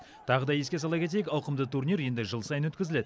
тағы да еске сала кетейік ауқымды турнир енді жыл сайын өткізіледі